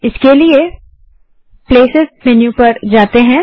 इसके लिए अब प्लेसेस मेन्यू पर जाते हैं